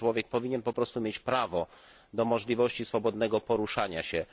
Taki człowiek powinien po prostu mieć prawo do możliwości swobodnego poruszania się.